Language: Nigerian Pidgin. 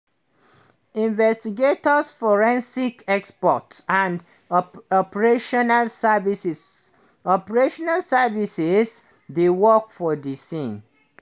"investigators forensic experts and operational services operational services dey work for di scene".